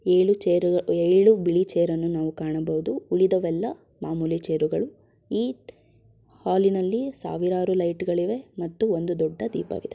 ಏಳು ಚೇರು ಏಳು ಬಿಳಿ ಚೇರ ನ್ನು ನಾವು ಕಾಣಬಹುದು ಉಳಿದವೆಲ್ಲ ಮಾಮೂಲಿ ಚೇರು ಗಳು ಈ ಹಾಲಿ ನಲ್ಲಿ ಸಾವಿರಾರು ಲೈಟ್ಗ ಳಿವೆ ಮತ್ತು ಒಂದು ದೊಡ್ಡ ದೀಪವಿದೆ.